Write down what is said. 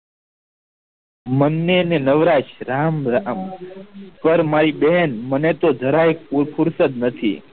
મનને ને નવરા શ્રામ રામ કરમાય બેન મને તો જરા એ ફુરસત નથી